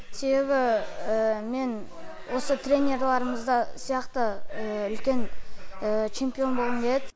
себебі мен осы тренерларымыз сияқты үлкен чемпион болғым келеді